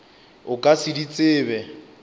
o ka se di tsebe